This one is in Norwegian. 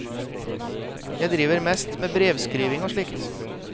Jeg driver mest med brevskriving og slikt.